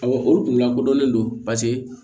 Awɔ o kun lakodɔnnen don paseke